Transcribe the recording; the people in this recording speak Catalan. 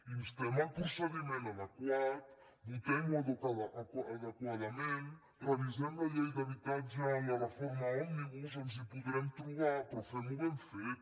instem el procediment adequat votem ho adequadament revisem la llei d’habitatge en la reforma òmnibus ens hi podrem trobar però fem ho ben fet